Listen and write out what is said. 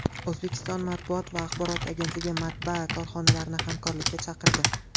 O‘zbekiston matbuot va axborot agentligi matbaa korxonalarini hamkorlikka chaqirdi.